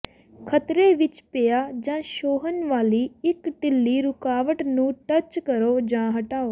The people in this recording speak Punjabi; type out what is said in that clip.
ਖਤਰੇ ਵਿੱਚ ਪਿਆ ਜਾਂ ਛੋਹਣ ਵਾਲੀ ਇੱਕ ਢਿੱਲੀ ਰੁਕਾਵਟ ਨੂੰ ਟੱਚ ਕਰੋ ਜਾਂ ਹਟਾਓ